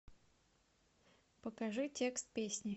покажи текст песни